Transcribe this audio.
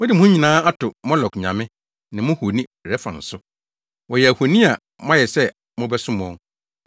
Mode mo ho nyinaa ato Molok nyame, ne mo honi Rɛfan so; wɔyɛ ahoni a moayɛ sɛ mobɛsom wɔn.